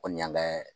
Kɔni y'an kɛ